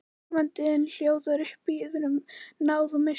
Áhorfandinn hljóðar upp, biður um náð og miskunn.